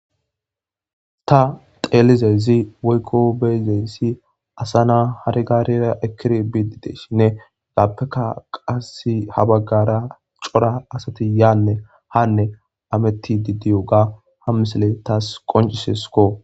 Ta xelizayssi woykko bei'zayssi assa naa hare garrera ekidi bidi diyssinne appekka ha baggara coora assathi yanne hanne hamethidi diyogga ha missile tas qonciseskko .